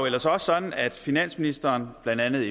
ellers også sådan at finansministeren blandt andet